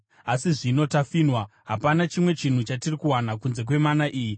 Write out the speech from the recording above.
Asi zvino tafinhwa; hapana chimwe chinhu chatiri kuwana kunze kwemana iyi.”